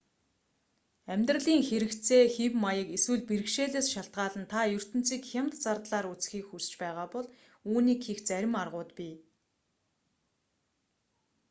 амьдралын хэрэгцээ хэв маяг эсвэл бэрхшээлээс шалтгаалан та ертөнцийг хямд зардлаар үзэхийг хүсч байгаа бол үүнийг хийх зарим аргууд бий